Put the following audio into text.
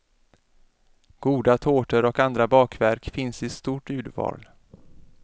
Goda tårtor och andra bakverk finns i stort urval.